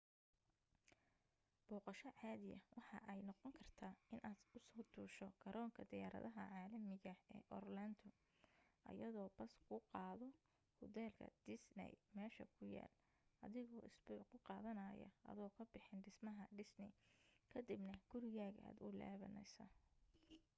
booqosho caadiya waxa ay noqon kartaa inaad usoo duusho garoonka diyaaradaha caalamiga ee orlando ayadoo bas kuu qaado hudheelka disney meesha ku yaal adigoo isbuuc ku qaadanaaya adoo ka bixin dhismaha disney kadibna gurigaaga aad u laabaneysa